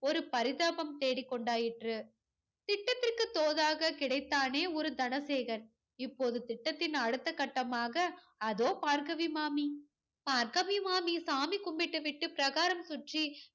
ஒரு பரிதாபம் தேடிக்கொண்டாயிற்று. திட்டத்திற்கு தோதாக கிடைத்தானே ஒரு தனசேகர். இப்போது திட்டத்தின் அடுத்தக் கட்டமாக அதோ பார்கவி மாமி. பார்கவி மாமி சாமி கும்பிட்டு விட்டு பிரகாரம் சுற்றி